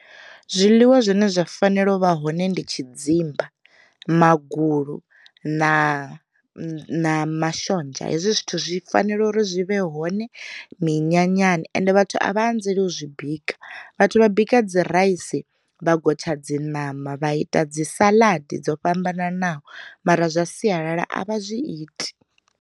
Zwiḽiwa zwine zwa fanela u vha hone ndi tshidzimba, magulu, na mashonzha. Hezwi zwithu zwi fanela uri zwi vhe hone minyanyani ende vhathu a vha anzeli u zwi bika vhathu vha bika dzi raisi, vha gotsha dzi ṋama, vha ita dzi salaḓi dzo fhambananaho mara zwa sialala a vha zwi iti.